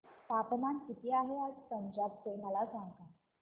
तापमान किती आहे आज पंजाब चे मला सांगा